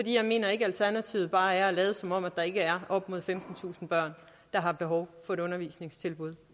jeg mener ikke at alternativet bare er at lade som om der ikke er op mod femtentusind børn der har behov for et undervisningstilbud